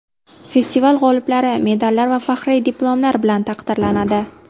Festival g‘oliblari medallar va faxriy diplomlar bilan taqdirlanadi.